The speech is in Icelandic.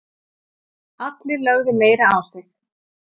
Allir lögðu meira á sig